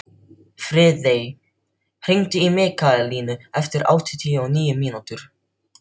Friðey, hringdu í Mikkalínu eftir áttatíu og níu mínútur.